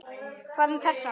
Hvað um þessa?